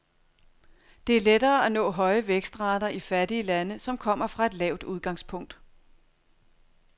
Det er lettere at nå høje vækstrater i fattige lande, som kommer fra et lavt udgangspunkt.